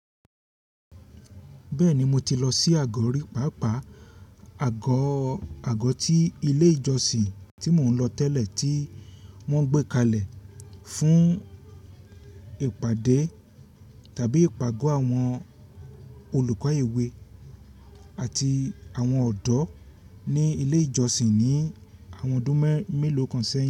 Bẹ́ẹ̀ni, mo ti lọ sí àgọ́ rí pàápàá àgọ́, àgọ́ ti ilé ìjọsìn tí mò ń lọ tẹ́lẹ̀ tí wọ́n gbé kalẹ̀ fún ìpàdé tàbí ìpàgọ́ àwọn olùkọ́ ewé àti àwọn ọ̀dọ́ ní ilé ìjọsìn ní àwọn ọdún mẹ́, mélòó kan sẹ́yìn.